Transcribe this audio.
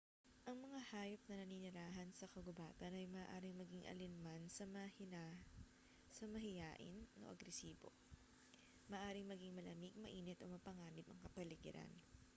ang mga hayop na naninirahan sa kagubatan ay maaaring maging alinman sa mahiyain o agresibo maaaring maging malamig mainit o mapanganib ang kapaligiran